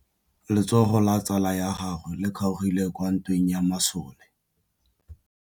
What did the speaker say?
Letsôgô la tsala ya gagwe le kgaogile kwa ntweng ya masole.